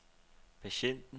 patienten